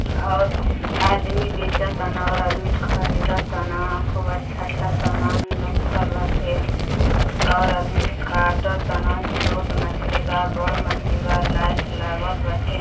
और आदमी बेचतान और आदमी खरीदतान। खूब अच्छा-अच्छा समान रखल बाटे और अदमी काटतान। छोट मछली बा। बड़ मछली बा। लाइट लागल बाटे।